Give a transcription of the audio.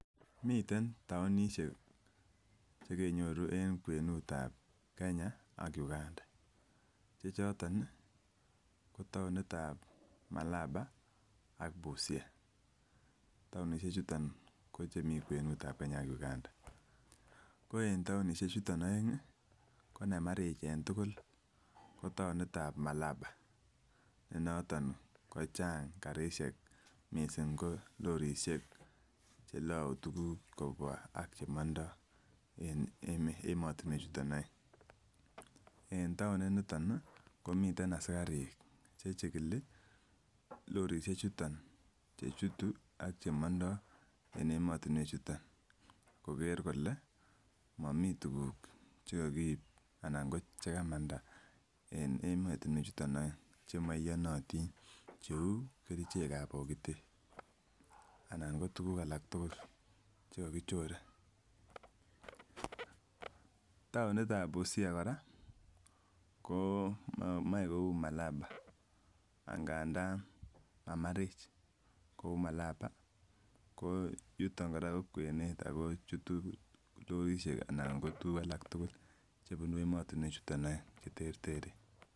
Miten townishek chekenyoru en kwenutab Kenya ak Uganda chechoton nii ko townitab Malabar ak Busia. Townishek chuto ko chemiten kwenutab Kenya a Uganda ko nemarich en tukuk ko townitab Malaba ne noton kocheng karishek missing ko lorishek chelou tukuk kobwa ak chemondo en emotinwek chuton oeng . En town initon nii komiten asikarik chechikili lorishek chuton chechutu ak chemondo en emotinwek chuton koker kole momii tukuk chekokib anan ko chekamanda en emotinwek chuton oeng chemoiyonotin cheu kerichekan bokitet anan ko tukuk alak tukuk chekokichore. Townitab Busia Koraa ko moi kou Malaba angandan mamarich kou Malaba ko yuton Koraa ko kwenet ako chutu lorishek anan ko tukuk alak tukuk chebunu emotinwek chuton oeng cheterteren.